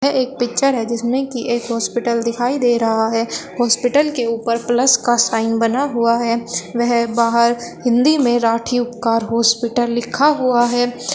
एक पिक्चर है जिसमें की एक हॉस्पिटल दिखाई दे रहा है हॉस्पिटल के ऊपर प्लस का साइन बना हुआ है बाहर हिंदी में राठी उपकार हॉस्पिटल लिखा हुआ है।